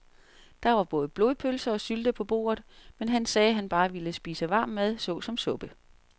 Der var både blodpølse og sylte på bordet, men han sagde, at han bare ville spise varm mad såsom suppe.